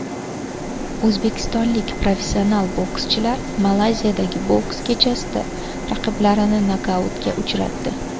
O‘zbekistonlik professional bokschilar Malayziyadagi boks kechasida raqiblarini nokautga uchratdi.